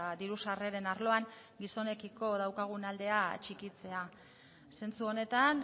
diru sarreren arloan gizonekiko daukagun aldean txikitzea zentzu honetan